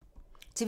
TV 2